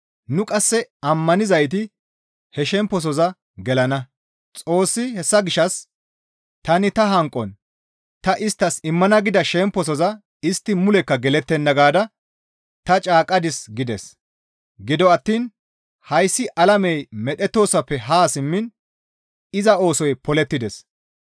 Nu qasse ammanizayti he shemposoza gelana. Xoossi, «Hessa gishshas tani ta hanqon, ‹Ta isttas immana gida shemposoza istti mulekka gelettenna› gaada ta caaqqadis» gides. Gido attiin hayssi alamey medhettoosoppe haa simmiin iza oosoy polettides.